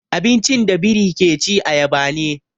Abincin da biri ke ci ayaba ne.